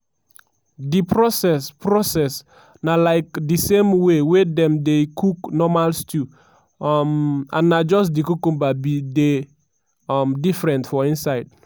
di process process na like di same way wey dem dey cook normal stew um and na just di cucumber bin dey um different for inside.